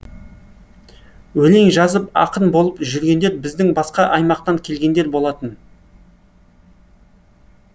өлең жазып ақын болып жүргендер біздің басқа аймақтан келгендер болатын